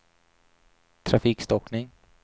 trafikstockning